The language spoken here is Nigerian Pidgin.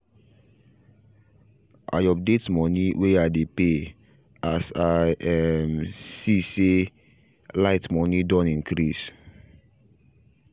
i update money way i dey pay as i um see say light money done increase